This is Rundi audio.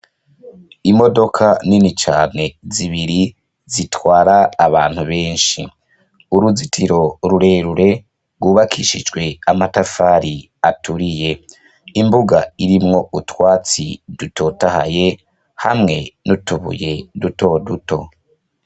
Imodoka nini cane zibiri zitwara abantu benshi, uruzitiro rurerure rwubakishijwe amatafari aturiye, imbuga irimwo utwatsi dutotahaye hamwe n'utubuye duto duto.